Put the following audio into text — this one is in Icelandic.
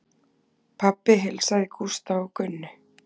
Pabbi heilsaði Gústa og Gunnu.